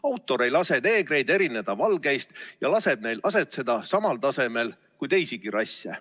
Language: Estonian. Autor ei lase neegreid erineda valgeist ja laseb neil asetseda samal tasemel kui teisigi rasse.